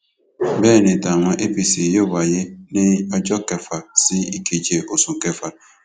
bẹẹ ni tàwọn apc yóò wáyé ní ọjọ kẹfà sí ìkeje oṣù kẹfà